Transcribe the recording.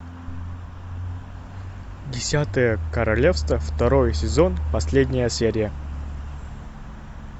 десятое королевство второй сезон последняя серия